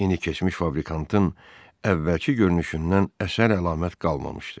İndi keçmiş fabrikantın əvvəlki görünüşündən əsər əlamət qalmamışdı.